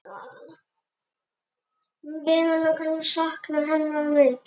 Við munum sakna hennar mikið.